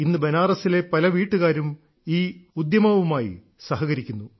ഇന്ന് ബനാറസിലെ പല വീട്ടുകാരും ഈ ഉദ്യമവുമായി സഹകരിക്കുന്നു